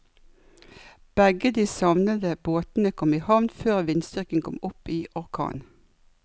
Begge de savnede båtene kom i havn før vindstyrken kom opp i orkan.